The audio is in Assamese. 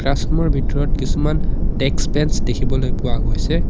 ক্লাছৰুম ৰ ভিতৰত কিছুমান ডেস্ক বেঞ্চ দেখিবলৈ পোৱা গৈছে।